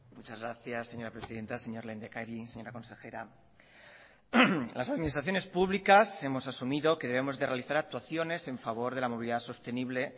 muchas gracias señora presidenta señor lehendakari señora consejera las administraciones públicas hemos asumido que debemos de realizar actuaciones en favor de la movilidad sostenible